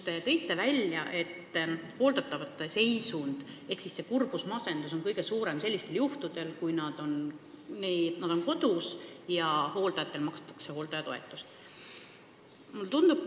Te tõite välja, et hooldatava kurbus ja masendus on kõige suurem sellisel juhul, kui ta on kodus ja hooldajale makstakse hooldajatoetust.